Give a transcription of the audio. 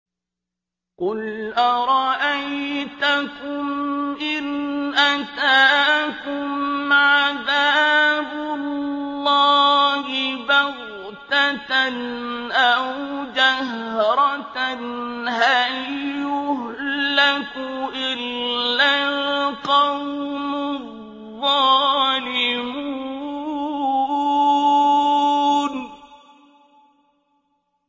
قُلْ أَرَأَيْتَكُمْ إِنْ أَتَاكُمْ عَذَابُ اللَّهِ بَغْتَةً أَوْ جَهْرَةً هَلْ يُهْلَكُ إِلَّا الْقَوْمُ الظَّالِمُونَ